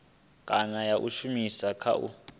kana ya shumiswa kha u